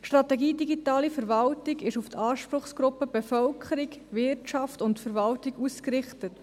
Die Strategie Digitale Verwaltung ist auf die Anspruchsgruppen Bevölkerung, Wirtschaft und Verwaltung ausgerichtet.